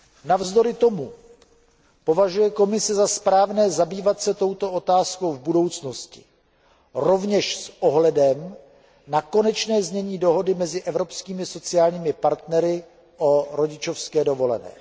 Navzdory tomu považuje Komise za správné zabývat se touto otázkou v budoucnosti, rovněž s ohledem na konečné znění dohody mezi evropskými sociálními partnery o rodičovské dovolené.